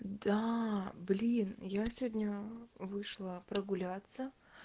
да блин я сегодня вышла прогуляться